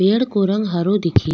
पेड़ को रंग हरो दिखे --